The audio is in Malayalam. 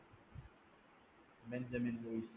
Benjamin Luis